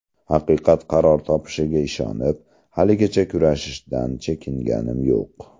Haqiqat qaror topishiga ishonib, haligacha kurashishdan chekinganim yo‘q.